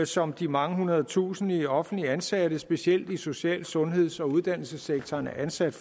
som de mange hundredetusinde offentligt ansatte specielt i social sundheds og uddannelsessektoren er ansat